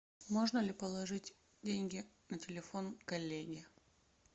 можно ли положить деньги на телефон коллеге